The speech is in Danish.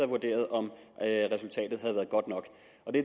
vurderet om resultatet havde været godt nok